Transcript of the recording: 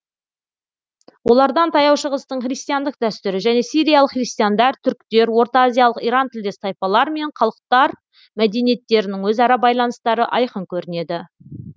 олардан таяу шығыстың христиандық дәстүрі және сириялық христиандар түріктер ортаазиялық иран тілдес тайпалар мен халықтар мәдениеттерінің өзара байланыстары айқын көрінеді